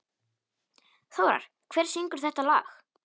Þórar, hver syngur þetta lag?